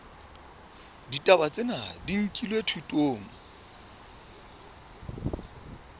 ditaba tsena di nkilwe thutong